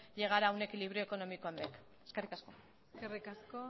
llegar a un equilibrio económico en bec eskerrik asko eskerrik asko